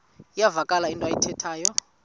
iyavakala into ayithethayo